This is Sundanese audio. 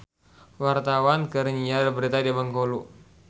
Wartawan keur nyiar berita di Bengkulu